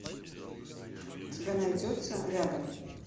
у тебя найдется рядом